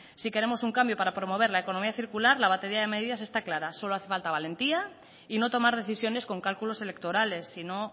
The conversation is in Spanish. si queremos un cambio para promover la economía circular la batería de medidas está clara solo hace falta valentía y no tomar decisiones con cálculos electorales sino